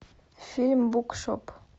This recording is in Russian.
фильм букшоп